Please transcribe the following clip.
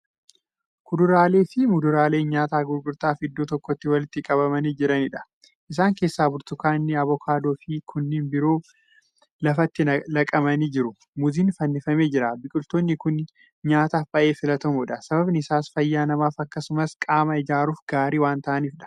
Kuduraalee fi muduraalee nyaataa gurgurtaaf iddoo tokkotti walitti qabamanii jiraniidha. isaan keessaa burtukaanni, abokaadooniifi kanneen biroo lafatti laqamanii jiru. muuziin fannifamee jira. biqiltoonni Kuni nyaataaf baay'ee filatamoodha sabaabni Isaa fayyaa namaaf akkasumas qaama ijaaruuf gaarii waan ta'aniifidha.